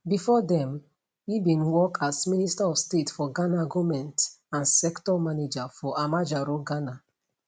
bifor dem e bin work as minister of state for ghana goment and sector manager for amajaro ghana